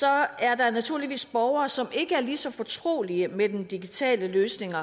er der naturligvis borgere som ikke er lige så fortrolige med den digitale løsning